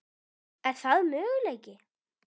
Er það möguleiki?